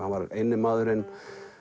hann var eini maðurinn